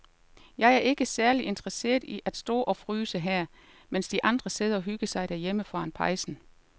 Jeg er ikke særlig interesseret i at stå og fryse her, mens de andre sidder og hygger sig derhjemme foran pejsen.